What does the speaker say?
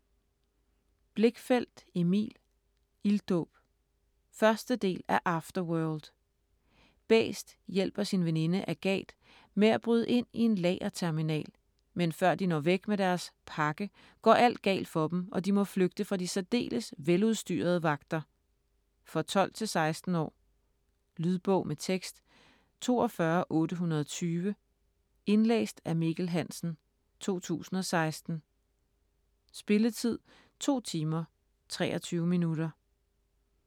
Blichfeldt, Emil: Ilddåb 1. del af Afterworld. Bæst hjælper sin veninde Agat med at bryde ind i en lagerterminal, men før de når væk med deres "pakke", går alt galt for dem, og de må flygte fra de særdeles veludstyrede vagter. For 12-16 år. Lydbog med tekst 42820 Indlæst af Mikkel Hansen, 2016. Spilletid: 2 timer, 23 minutter.